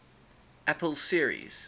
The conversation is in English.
apple series